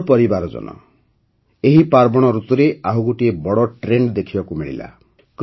ମୋର ପରିବାରଜନ ଏହି ପାର୍ବଣ ଋତୁରେ ଆଉ ଗୋଟିଏ ବଡ଼ ଟ୍ରେଣ୍ଡ ଦେଖିବାକୁ ମିଳିଲା